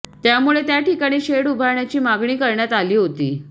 त्यामुळे त्या ठिकाणी शेड उभारण्याची मागणी करण्यात आली होती